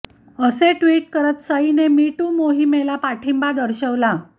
असे ट्विट करत सईने मी टू मोहिमेला पाठिंबा दर्शवला